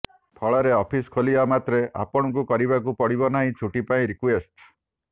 ଫଳରେ ଅଫିସ ଖୋଲିବା ମାତ୍ରେ ଆପଣଙ୍କୁ କରିବାକୁ ପଡ଼ିବ ନାହିଁ ଛୁଟି ପାଇଁ ରିକ୍ୱେଷ୍ଟ